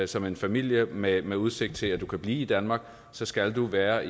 som en familie med med udsigt til at kunne blive i danmark så skal man være